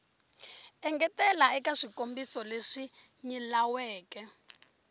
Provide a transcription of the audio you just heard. engetela eka swikombiso leswi nyilaweke